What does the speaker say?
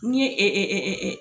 N'i ye